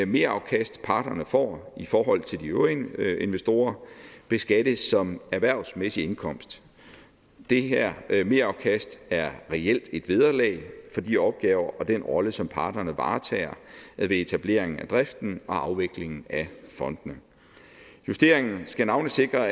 merafkast parterne får i forhold til de øvrige investorer beskattes som erhvervmæssig indkomst det her her merafkast er reelt et vederlag for de opgaver og den rolle som parterne varetager ved etableringen af driften og afviklingen af fondene justeringen skal navnlig sikre